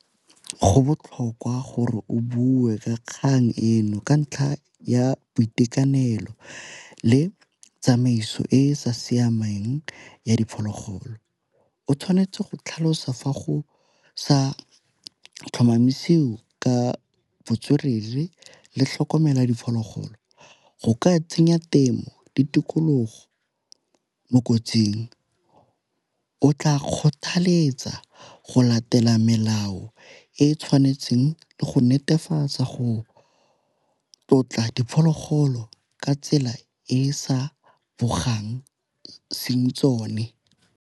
Go botlhokwa gore o bue ka kgang eno ka ntlha ya boitekanelo le tsamaiso e e sa siamang ya diphologolo o tshwanetse go tlhalosa fa go sa tlhomamisiwa ka botswerere le tlhokomela diphologolo. Go ka tsenya temo ditikologo mo kotsing o tla kgothaletsa go latela melao e e tshwanetseng le go netefatsa go tlotla diphologolo ka tsela e e sa gogang tsone.